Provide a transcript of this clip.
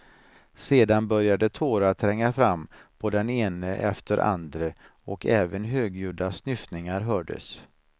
Sedan började tårar tränga fram på den ene efter andre och även högljudda snyftningar hördes.